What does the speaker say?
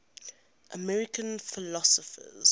american philosophers